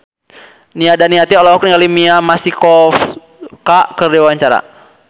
Nia Daniati olohok ningali Mia Masikowska keur diwawancara